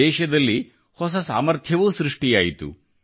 ದೇಶದಲ್ಲಿ ಹೊಸ ಸಾಮರ್ಥ್ಯವೂ ಸೃಷ್ಟಿಯಾಯಿತು